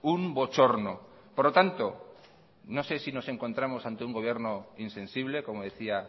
un bochorno por lo tanto no sé si nos encontramos ante un gobierno insensible como decía